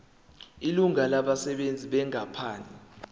ilungu labasebenzi benkampani